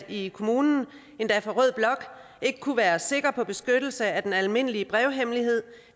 i kommunen endda fra rød blok ikke kunne være sikker på beskyttelse af den almindelige brevhemmelighed